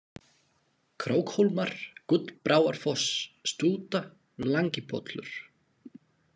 Krókhólmar, Gullbráarfoss, Stúta, Langipollur